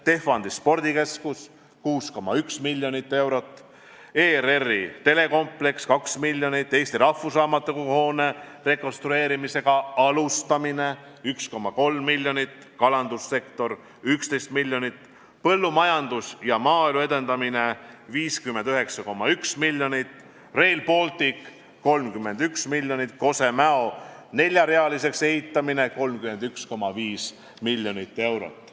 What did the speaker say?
Tehvandi spordikeskus – 6,1 miljonit eurot; ERR-i telekompleks – 2 miljonit; Eesti Rahvusraamatukogu hoone rekonstrueerimise alustamine – 1,3 miljonit; kalandussektor – 11 miljonit; põllumajanduse ja maaelu edendamine – 59,1 miljonit; Rail Baltic – 31 miljonit; Kose–Mäo lõigu neljarealiseks ehitamine – 31,5 miljonit eurot.